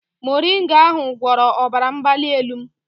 Moringa ahụ gwọrọ ọbara mgbali elu m